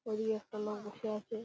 ঐদিকে একটা লোক বসে আছে ।